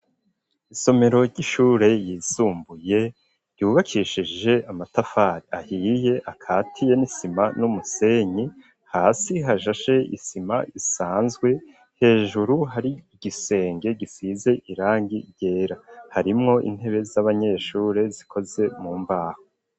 Isomero ry'ishure ryisumbuye ryubakishije amatafari ahiye akatiye n'isima n'umusenyi hasi hashashe isima isanzwe hejuru hari igisenge gisize irangi ryera harimwo intebe z'abanyeshure zikoze mu mbaho.